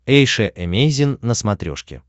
эйша эмейзин на смотрешке